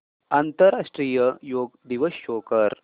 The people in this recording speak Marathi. आंतरराष्ट्रीय योग दिवस शो कर